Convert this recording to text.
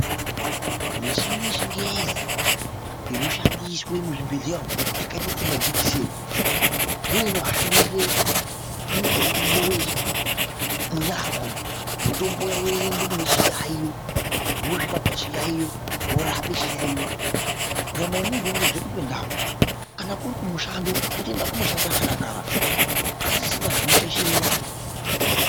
Muchini yechingezi inoshandiswe muzvibhedhlera umo yakaite semajekiseni ndoinohambise mutombo munyama umo , mutombo woende kune chiyaiyo, wosvike pachiyaiyo worape chiyaiyo nyama yemuntu yotodzoke pandau kana kuri kumushando , otoende kumushando akadakara pasisina zvinoshaishira nyama.